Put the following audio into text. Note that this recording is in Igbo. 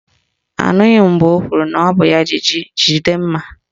Anụghị m mgbe o kwuru na ọ bụ ya jì jí jide mma